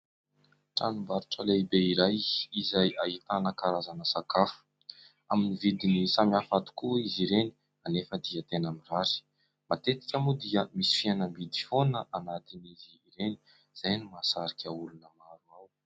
Tranombarotra lehibe iray izay ahitana karazana sakafo amin'ny vidiny samihafa tokoa izy ireny anefa dia tena mirary, matetika moa dia misy fihenam-bidy foana anatiny'izy ireny izay no mahasarika olona maro.